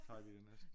Tager vi det næste?